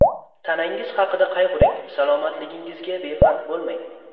Tanangiz haqida qayg‘uring Salomatligingizga befarq bo‘lmang.